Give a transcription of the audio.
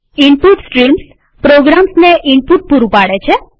input streams પ્રોગ્રામ્સને input પૂરું પાડે છે